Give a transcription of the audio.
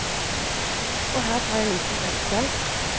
Og her tar jeg en liten pause.